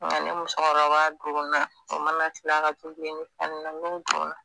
nka ni musokɔrɔba donna o mana tila tobili ni fɛn ninnu na n'u donna